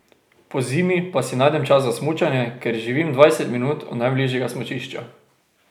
Pozimi pa si najdem čas za smučanje, ker živim dvajset minut od najbližjega smučišča.